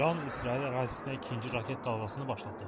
İran İsrail ərazisinə ikinci raket dalğasını başlatdı.